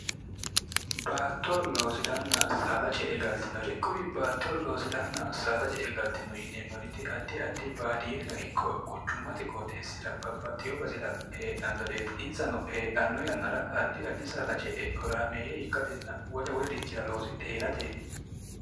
baatto loosiranna saada ce e galtinore quri baatto loosiranna saada ce'e galtino inneemmoriti addi addi baadiyeenno ikko quchummate qooxeessira babbaxxiyo basira heedhannoreeti insano heedhanno yannara addi addi saada ce e horaameeyye ikkatenna wole wolirichira loosidhe hee'rateeti